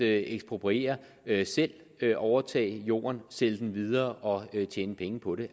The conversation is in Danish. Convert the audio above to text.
at ekspropriere selv overtage jorden sælge den videre og tjene penge på det